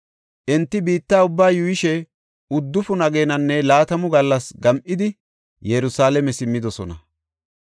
Enti biitta ubbaa yuuyishe uddufun ageenanne laatamu gallas gam7idi, Yerusalaame simmidosona.